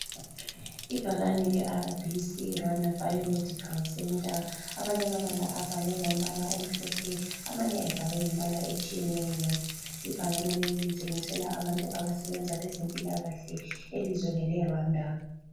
Ibhakane leRBC Rwanda Biomedical Centre amanye amabala abhalwe ngombala omhlophe amanye ebhalwe ngembala etshiyeneyo. Ibhakane leli litshengisela abantu abasebenza lezempilakahle elizweni leRwanda.